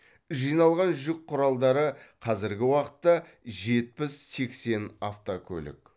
жиналған жүк құралдары қазіргі уақытта жетпіс сексен автокөлік